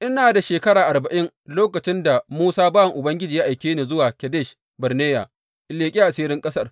Ina da shekara arba’in lokacin da Musa bawan Ubangiji ya aike ni zuwa Kadesh Barneya in leƙi asirin ƙasar.